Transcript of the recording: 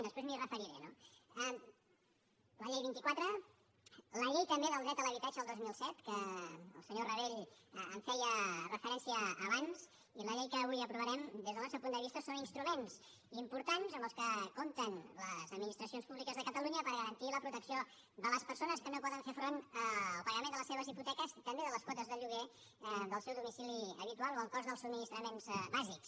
després m’hi referiré no la llei vint quatre la llei també del dret a l’habitatge del dos mil set que el senyor rabell hi feia referència abans i la llei que avui aprovarem des del nostre punt de vista són instruments importants amb què compten les administracions públiques de catalunya per garantir la protecció de les persones que no poden fer front al pagament de les seves hipoteques també de les quotes de lloguer del seu domicili habitual o el cost dels subministraments bàsics